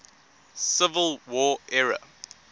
civil war era